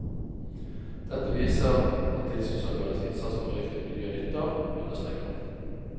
Dette viser at tilsynsorganenes innsats for røykfritt miljø nytter, understreker hun.